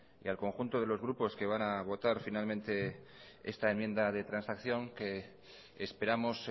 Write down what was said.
y al conjunto de los grupos que van a votar finalmente esta enmienda de transacción que esperamos